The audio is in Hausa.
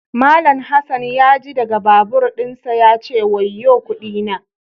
Mallam Hassan ya ji daga babur dinsa ya ce "wayo kudi na"